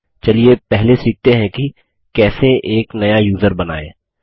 चलिए पहले सीखते हैं की कैसे एक नया यूज़र बनाएँ